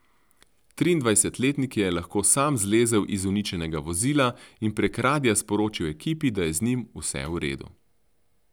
Triindvajsetletnik je lahko sam zlezel iz uničenega vozila in prek radia sporočil ekipi, da je z njim vse v redu.